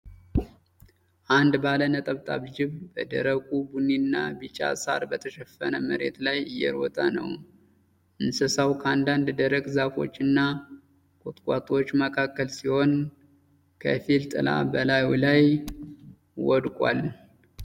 አንድ ባለ ነጠብጣብ ጅብ በደረቁ ቡኒና ቢጫ ሳር በተሸፈነ መሬት ላይ እየሮጠ ነው። እንስሳው ከአንዳንድ ደረቅ ዛፎችና ቁጥቋጦዎች መካከል ሲሆን፣ ከፊል ጥላ በላዩ ላይ ወድቋል።